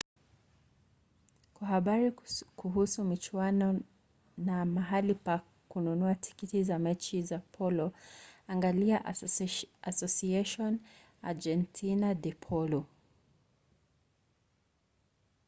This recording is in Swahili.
kwa habari kuhusu michuano na mahali pa kununua tikiti za mechi za polo angalia asociacion argentina de polo